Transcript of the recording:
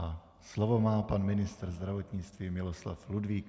A slovo má pan ministr zdravotnictví Miloslav Ludvík.